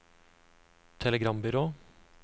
telegrambyrå